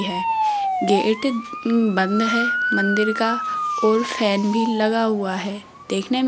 gate बंद है मंदिर का और फैन भी लगा हुआ है देखने मे --